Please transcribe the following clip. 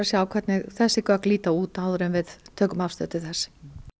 sjá hvernig þessi gögn líta út áður en við tökum afstöðu til þess